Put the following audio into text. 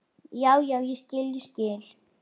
Já, já, ég skil, ég skil.